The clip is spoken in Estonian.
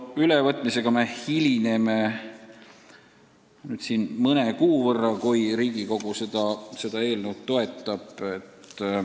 Ülevõtmisega me hilineme nüüd mõne kuu võrra, kui Riigikogu seda eelnõu toetab.